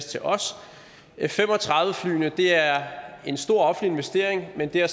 til os f fem og tredive flyene er en stor offentlig investering men der